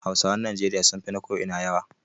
Hausawan Najeriya sun fi na ko ina yawa